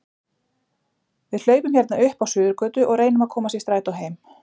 Við hlaupum hérna upp á Suðurgötu og reynum að komast í strætó heim